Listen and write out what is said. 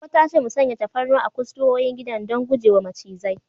Goggo ta ce mu sanya tafarnuwa a kusurwoyin gidan don guje wa macizai.